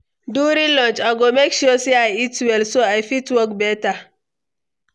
During lunch, I go make sure say I eat well, so I fit work better.